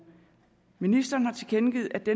ministeren har tilkendegivet at det